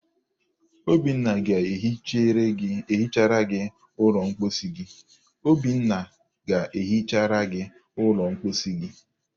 Obinna ga-ehichara gị ụlọ mposi gị.